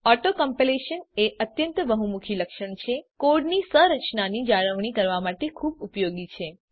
auto completion એ અત્યંત બહુમુખી લક્ષણ છે અને કોડની સંરચનાની જાળવણી કરવા માટે ખુબ ઉપયોગી છે